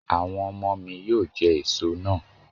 Àwọn ọmọ mi yóò jẹ gbogbo èso náà.